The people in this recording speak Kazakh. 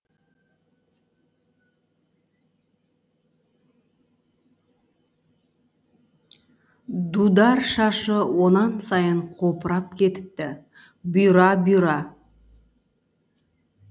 дудар шашы онан сайын қопырап кетіпті бұйра бұйра